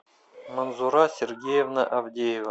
манзура сергеевна авдеева